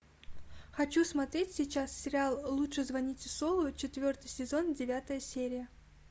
хочу смотреть сейчас сериал лучше звоните солу четвертый сезон девятая серия